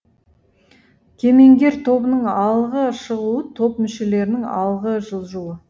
кемеңгер тобының алғы шығуы топ мүшелерінің алғы жылжуы